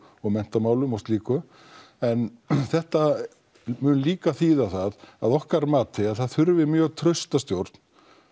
og menntamálum og slíku en þetta mun líka þýða það að okkar mati að það mun þurfa mjög trausta stjórn